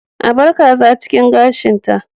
A bar kaza cikin gashin ta